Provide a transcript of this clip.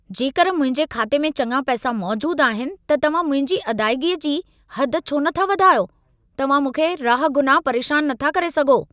जेकर मुंहिंजे खाते में चङा पैसा मौजूद आहिनि, त तव्हां मुंहिंजी अदाइगीअ जी हद छो नथा वधायो? तव्हां मूंखे राहगुनाह परेशान न था करे सघो।